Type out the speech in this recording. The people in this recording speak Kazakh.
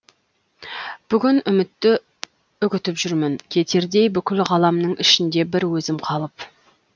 бүгін үмітті үгітіп жүрмін кетердей бүкіл ғаламның ішінде бір өзім қалып